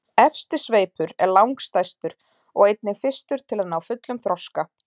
efsti sveipur er langstærstur og einnig fyrstur að ná fullum þroska